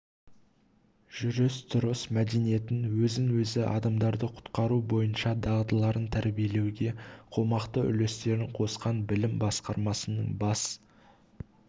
жүріс-тұрыс мәдениетін өзін және адамдарды құтқару бойынша дағдыларын тәрбиелеуге қомақты үлестерін қосқан білім басқармасының бас